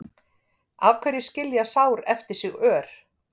Af hverju skilja sár eftir sig ör?